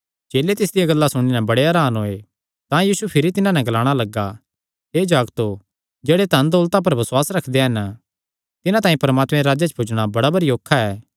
चेले तिसदियां गल्लां सुणी नैं बड़े हरान होये तां यीशु भिरी तिन्हां नैं ग्लाणा लग्गा हे जागतो जेह्ड़े धनदौलता पर बसुआस रखदे हन तिन्हां तांई परमात्मे दे राज्जे च पुज्जणा बड़ा भरी औखा ऐ